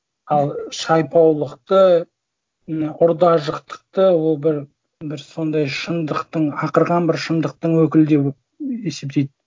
ал шайпаулықты мына ұр да жықтықты ол бір бір сондай шындықтың ақырған бір шындықтың өкілі деп есептейді